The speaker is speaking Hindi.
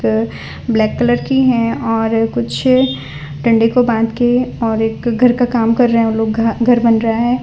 अ ब्लैक कलर की हैं और कुछ डंडे को बांध के और एक घर का काम कर रहें वो लोग घर बन रहा --